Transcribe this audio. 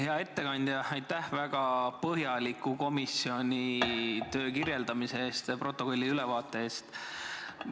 Hea ettekandja, aitäh komisjoni töö väga põhjaliku kirjeldamise eest ja protokolli ülevaate eest!